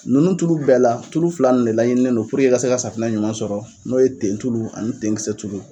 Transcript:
Ninnu tulu bɛɛ la, tulu fila ninnu de laɲininen don puruke i ka se ka safinɛ ɲuman sɔrɔ n'o ye tentulu ani denkisɛ tulu.